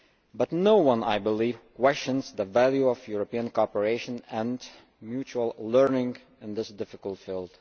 But no one, I believe, questions the value of European cooperation and mutual learning in this difficult field.